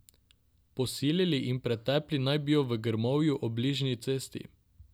Posilili in pretepli naj bi jo v grmovju ob bližnji cesti.